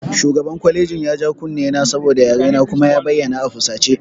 Shugaban kwalejin ya ja kunnen na saboda yarena kuma ya bayyana a fusace